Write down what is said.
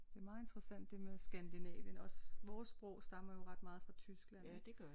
Det er meget interessant det med Skandinavien også vores sprog stammer jo ret meget fra Tyskland